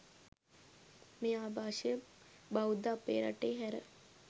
මේ ආභාෂය බෞද්ධ අපේ රටේ හැර